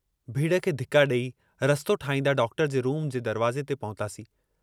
भीड़ खे धिका ॾेई रस्तो ठाहींदा डॉक्टर जे रूम जे दरवाज़े ते पहुतासीं।